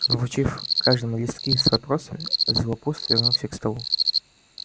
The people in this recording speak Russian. вручив каждому листки с вопросами златопуст вернулся к столу